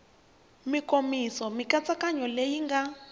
mikomiso mikatsakanyo leyi yi nga